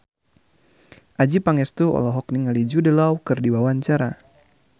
Adjie Pangestu olohok ningali Jude Law keur diwawancara